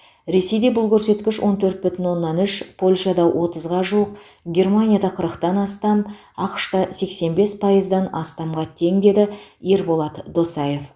ресейде бұл көрсеткіш он төрт бүтін оннан үш польшада отызға жуық германияда қырықтан астам ақш та сексен бес пайыздан астамға тең деді ерболат досаев